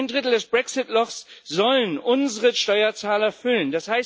Ein Drittel des Brexit Lochs sollen unsere Steuerzahler füllen.